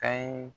Kan ye